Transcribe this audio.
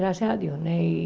Graças a Deus, né? E